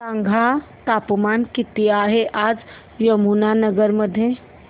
सांगा तापमान किती आहे आज यमुनानगर मध्ये